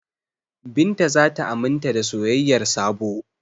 Binta za ta aminta da soyayyar Sabo.